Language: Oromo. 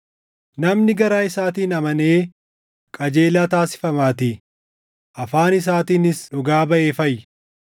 Namni garaa isaatiin amanee qajeelaa taasifamaatii; afaan isaatiinis dhugaa baʼee fayya.